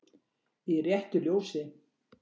Í RÉTTU LJÓSI